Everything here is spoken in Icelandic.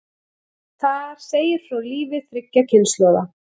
Þar segir frá lífi þriggja kynslóða.